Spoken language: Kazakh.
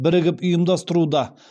бірігіп ұйымдастыруда